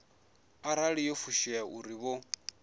arali yo fushea uri vho